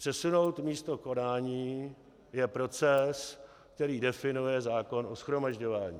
Přesunout místo konání je proces, který definuje zákon o shromažďování.